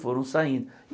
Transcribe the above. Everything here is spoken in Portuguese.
Foram saindo.